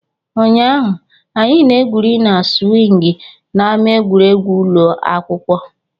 Ụnyaahụ, anyị na-egwuri na siwing na ama egwuregwu ụlọ akwụkwọ.